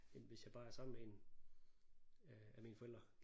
End hvis jeg bare er sammen med en af af mine forældre